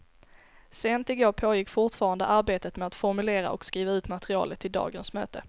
Sent i går pågick fortfarande arbetet med att formulera och skriva ut materialet till dagens möte.